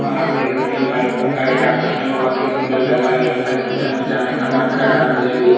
यह आप देख सकते है लाइटों का आकर्षण बहुत ही सुंदर लग रहा है लगता यह होटल में जाने का मन लग रहा है मुझे भी--